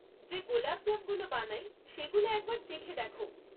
যে গোলাপজামগুলো বানাই সেগুলো একবার চেখে দেখ।